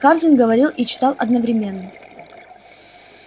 хардин говорил и читал одновременно